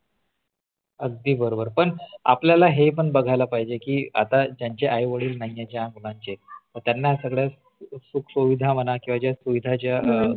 अगदी बरोबर पण आपल्याला हे पण बघायला पाहिजे की आता ज्यांचे आईवडील नाहीये ज्या मुलांंचे तर त्यांना सगळ सुख सुविधा म्हणा किंवा ज्या सुविधा सरकार ने दिलेल्या सरकारने दिलेल्या आहेत कश्या त्यांना मिळतील पण